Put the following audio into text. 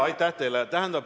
Aitäh teile!